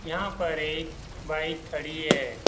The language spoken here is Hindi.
यहाँ पर एक बाइक खड़ी है ।